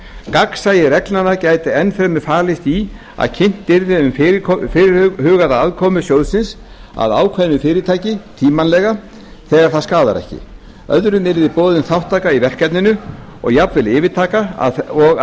gagnsæi reglnanna gæti enn fremur falist í að kynnt yrði um fyrirhugaða aðkomu sjóðsins að ákveðnu fyrirtæki tímanlega þegar það skaðar ekki öðrum yrði boðin þátttaka í verkefninu eða jafnvel yfirtaka og